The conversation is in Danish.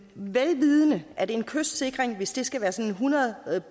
vel vidende at en kystsikring hvis den skal være sådan hundrede